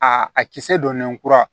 A a kisɛ donnen kura